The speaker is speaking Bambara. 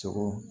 Sogo